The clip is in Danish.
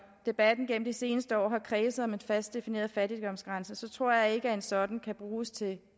debatten igennem de seneste år har kredset om en fast defineret fattigdomsgrænse tror jeg ikke at en sådan kan bruges til